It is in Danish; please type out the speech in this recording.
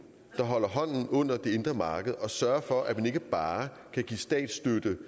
der holder hånden under det indre marked og sørger for at man ikke bare kan give statsstøtte